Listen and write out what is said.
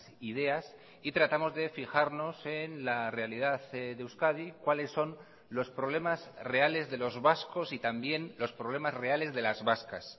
ideas y tratamos de fijarnos en la realidad de euskadi cuales son los problemas reales de los vascos y también los problemas reales de las vascas